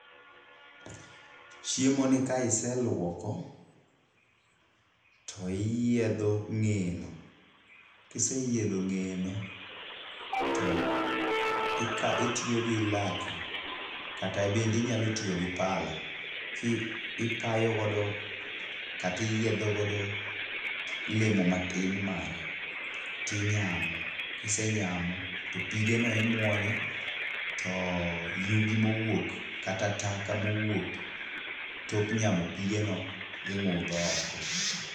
Chiemo ni ka iseluoko to iyiedho ngeye no. Kiseyiedho ng'eye no, to itiyo gi laki kata bende inyalo tiyo gi pala ki ipayogodo kata iyiedho godo lemo matin mare tinyamo. Kisenyamo to pige no imwonyo to yugi mowuok kata toka mowuok tok nyamo pige no ing'udho oko.